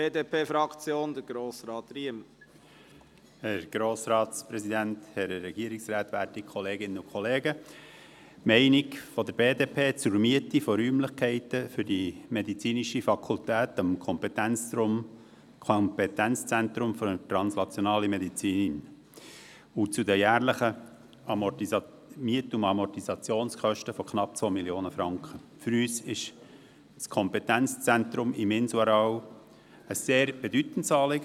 Die Meinung der BDP zur Miete von Räumlichkeiten für die medizinische Fakultät am Kompetenzzentrum für translationale Medizin und zu den jährlichen Miet- und Amortisationskosten von knapp 2 Mio. Franken: Uns ist das Kompetenzzentrum auf dem Inselareal ein sehr bedeutendes Anliegen.